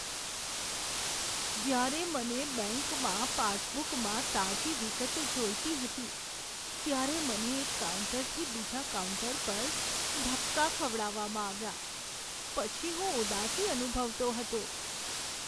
જ્યારે મને બેંકમાં પાસબુકમાં તાજી વિગતો જોઈતી હતી, ત્યારે મને એક કાઉન્ટરથી બીજા કાઉન્ટર પર ધક્કા ખવડાવવામાં આવ્યા પછી હું ઉદાસી અનુભવતો હતો.